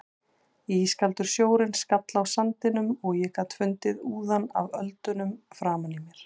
Ískaldur sjórinn skall á sandinum og ég gat fundið úðann af öldunum framan í mér.